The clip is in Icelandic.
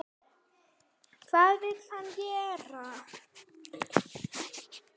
Hvað vill hann gera?